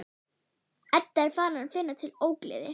Edda er farin að finna til ógleði.